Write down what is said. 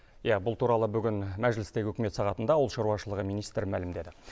иә бұл туралы бүгін мәжілістегі үкімет сағатында ауыл шаруашылығы министрі мәлімдеді